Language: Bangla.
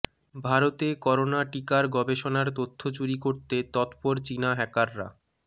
ভারতে করোনা টিকার গবেষণার তথ্য চুরি করতে তৎপর চিনা হ্যাকাররা